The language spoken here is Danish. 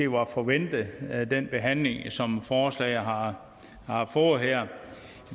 var forventet med den behandling som forslaget har har fået her